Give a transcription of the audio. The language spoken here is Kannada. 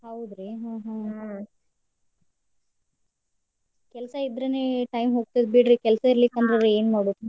ಹೌದ್ರಿ ಹ್ಮ್ ಹ್ಮ್. ಕೆಲ್ಸಾ ಇದ್ರೆ time ಹೋಗ್ತೇತಿ ಬಿಡ್ರಿ ಕೆಲ್ಸಾ ಇರಲಿಕ್ಕಂದ್ರ್ ಏನ್ ಮಾಡುದ್.